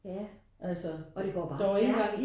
Ja og det går bare stærkt